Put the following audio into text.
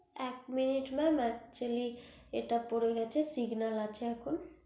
এক minute mam actually এটা পরে গেছে signal আছে